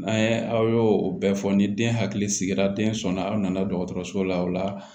N'an ye aw y'o o bɛɛ fɔ ni den hakili sigira den sɔnna aw nana dɔgɔtɔrɔso la o la